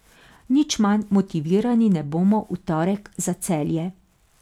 Nič manj motivirani ne bomo v torek za Celje.